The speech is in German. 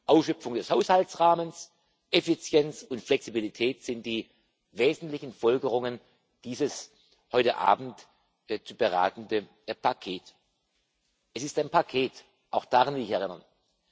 Ausschöpfung des Haushaltsrahmens, Effizienz und Flexibilität sind die wesentlichen Folgerungen dieses heute Abend zu beratenden Pakets. Es ist ein Paket auch daran will ich erinnern.